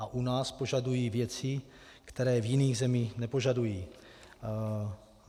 A u nás požadují věci, které v jiných zemích nepožadují.